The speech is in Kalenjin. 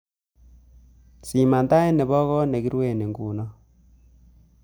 Siman tait nebo koot negirue nguno